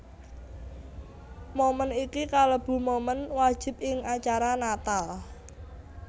Moment iki kalebu momen wajib ing acara Natal